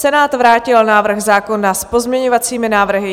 Senát vrátil návrh zákona s pozměňovacími návrhy.